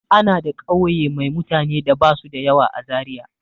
Ana da ƙauye mai mutane da ba su da yawa a Zariya.